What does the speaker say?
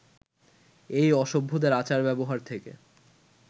এই অসভ্যদের আচার-ব্যবহার থেকে